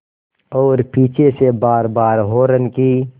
और पीछे से बारबार हार्न की